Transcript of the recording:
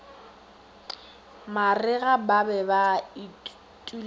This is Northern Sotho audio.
marega ba be ba itulela